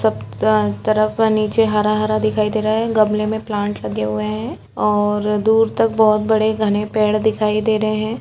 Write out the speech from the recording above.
सब तरफ नीचे हरा हरा दिखाई दे रहा हैं गमले में प्लांट लगे हुए हैं और दूर तक बहुत बड़े घने पेड़ दिखाई दे रहे हैं।